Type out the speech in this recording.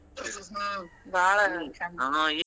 ಹ್ಮ್ ಬಾಳ್ .